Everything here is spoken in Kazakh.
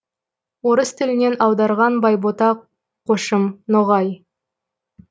орыс тілінен аударған байбота қошым ноғай